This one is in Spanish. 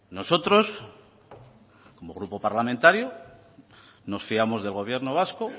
nosotros como grupo parlamentario nos fiamos del gobierno vasco